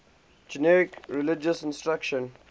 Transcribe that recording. generic religious instruction